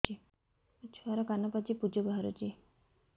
ମୋ ଛୁଆର କାନ ପାଚି ପୁଜ ବାହାରୁଛି